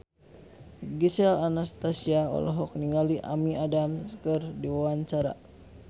Gisel Anastasia olohok ningali Amy Adams keur diwawancara